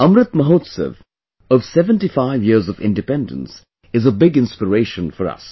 Amrit Mahotsav of 75 years of Independence is a big inspiration for us